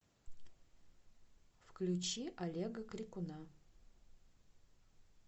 включи олега крикуна